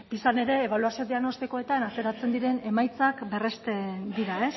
pisan ere ebaluazio diagnostikoetan ateratzen diren emaitzan berresten dira